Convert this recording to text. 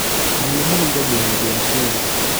Mahiũ marĩithagio na njĩra ciothe